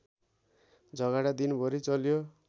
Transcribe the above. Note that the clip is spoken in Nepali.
झगडा दिनभरि चल्यो